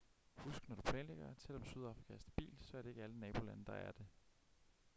husk når du planlægger at selvom sydafrika er stabilt så er det ikke alle nabolande der er det